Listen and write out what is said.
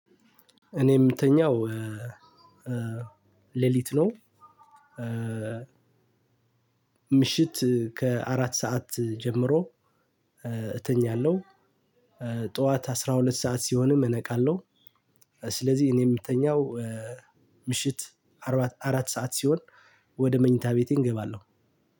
እኔ የምተኛው ሌሊት ነው። ምሽት ከአራት ሰዓት ጀምሮ እተኛለሁ። ጠዋት አስራ ሁለት ሰዓት ሲሆንም እነቃለሁ። ስለዚህ እኔ የምተኛው ምሽት አራት፣ አራት ሰዓት ሲሆን ወደ መኝታ ቤቴ እገባለሁ።